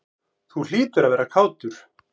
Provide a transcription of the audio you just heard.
Þú hlýtur að vera kátur?